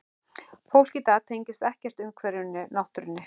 Fólk í dag tengist ekkert umhverfinu, náttúrunni.